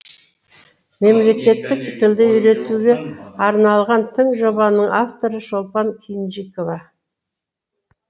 мемлекеттік тілді үйретуге арналған тың жобаның авторы шолпан кинжикова